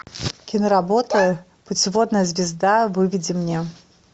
киноработа путеводная звезда выведи мне